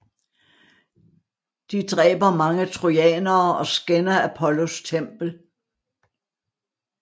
De dræber mange trojanere og skænder Apollos tempel